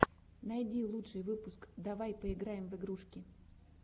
найди лучший выпуск давай поиграем в игрушки